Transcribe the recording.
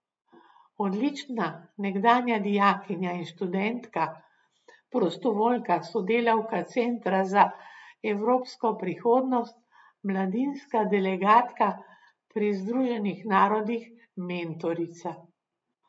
Odlična nekdanja dijakinja in študentka, prostovoljka, sodelavka Centra za evropsko prihodnost, mladinska delegatka pri Združenih narodih, mentorica.